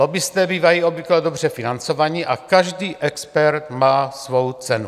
Lobbisté bývají obvykle dobře financovaní a každý expert má svou cenu.